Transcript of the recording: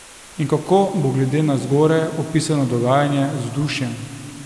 In kako bo glede na zgoraj opisano dogajanje z vzdušjem?